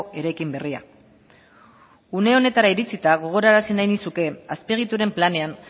eraikin berria une honetara iritsita gogorarazi nahi nizuke azpiegituren planean